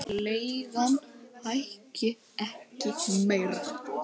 Leigan hækki ekki meira.